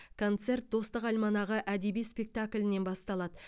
концерт достық альманағы әдеби спектаклінен басталады